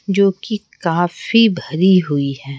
जो कि काफी भरी हुई हैं।